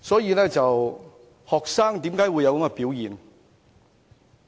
為何學生會有這種想法？